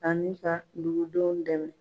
Ani ka dugudenw dɛmɛ